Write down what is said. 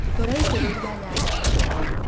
Tũraitĩrĩria nyanya maaĩ.